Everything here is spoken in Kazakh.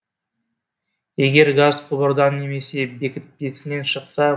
егер газ құбырдан немесе бекітпесінен шықса